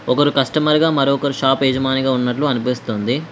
ఒకరు కస్టమర్ గా మరొకరు షాప్ యజమానిగా ఉన్నట్లు అనిపిస్తుంది.